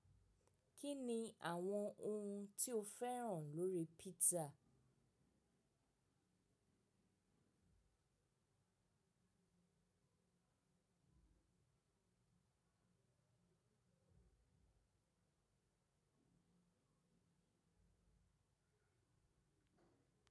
Kí ni àwọn ohun tí o fẹ́ràn lórí pizza?